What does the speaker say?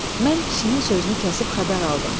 Mən kişinin sözünü kəsib xəbər aldım.